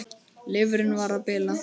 Lifrin var að bila.